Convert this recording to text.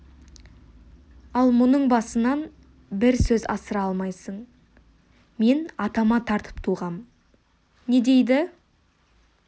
ал мұның басынан бір сөз асыра алмайсың мен атама тартып туғам не дейді